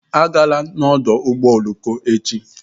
Agala n'ọdụ ụgbọ oloko echi!